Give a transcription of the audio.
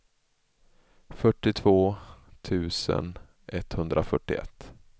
fyrtiotvå tusen etthundrafyrtioett